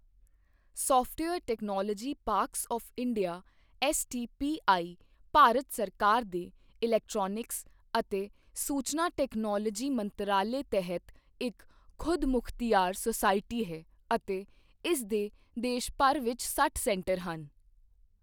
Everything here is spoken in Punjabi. Software technology parks of India STPI Bharat ਸਰਕਾਰ ਦੇ ਇਲੈਕਟ੍ਰੌਨਿਕਸ ਅਤੇ ਸੂਚਨਾ ਟੈਕਨੋਲੋਜੀ ਮੰਤਰਾਲੇ ਤਹਿਤ ਇੱਕ ਖ਼ੁਦਮੁਖ਼ਤਿਆਰ ਸੁਸਾਇਟੀ ਹੈ ਅਤੇ ਇਸ ਦੇ ਦੇਸ਼ ਭਰ ਵਿੱਚ ਸੱਠ ਸੈਂਟਰ ਹਨ।